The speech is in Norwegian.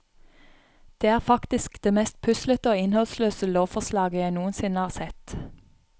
Det er faktisk det mest puslete og innholdsløse lovforslaget jeg noensinne har sett.